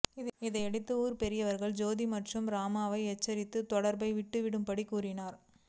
இதையடுத்து ஊர் பெரியவர்கள் ஜோதி மற்றும் ராமாவை எச்சரித்து தொடர்பை விட்டுவிடும் படி கூறினர்